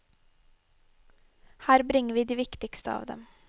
Her bringer vi de viktigste av dem.